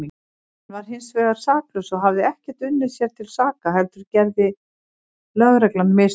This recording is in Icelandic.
Hann var hinsvegar saklaus og hafði ekkert unnið sér til saka heldur gerði lögreglan mistök.